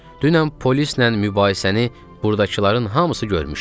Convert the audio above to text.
Dünən polislə mübahisəni burdakıların hamısı görmüşdü.